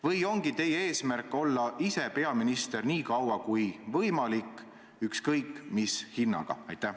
Või ongi teie eesmärk olla ise peaminister nii kaua kui võimalik, ükskõik mis hinnaga?